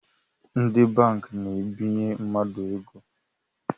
Ndi banki na-ebinye mmadụ ego